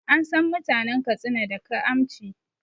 An san mutanen Katsina da kaamci